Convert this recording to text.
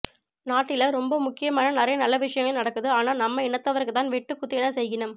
நாட்டில ரொம்ப முக்கியமா நிறைய நல்ல விசயங்கள் நடக்குது ஆனா நம்ம இனத்தவருக்குத்தான் வெட்டு குத்து என செய்கினம்